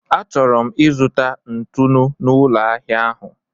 Achọrọ m ịzụta ntụnụ n'ụlọ ahịa ahụ.